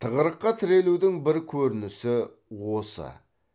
тығырыққа тірелудің бір көрінісі осы